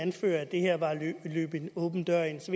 anfører at det her var at løbe en åben dør ind så